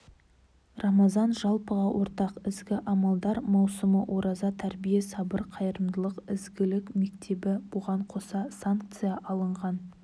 рамазан жалпыға ортақ ізгі амалдар маусымы ораза тәрбие сабыр қайырымдылық ізгілік мектебі бұған қоса санкция алынғаннан